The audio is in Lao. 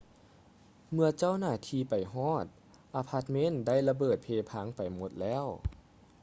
ເມື່ອເຈົ້າໜ້າທີ່ໄປຮອດ ອາພາດເມັນໄດ້ລະເບີດເພພັງໄປໝົດແລ້ວ